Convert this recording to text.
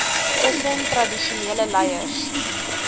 tussen tradisionele leiers